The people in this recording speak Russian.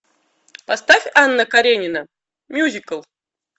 поставь анна каренина мюзикл